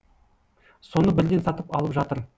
соны бірден сатып алып жатыр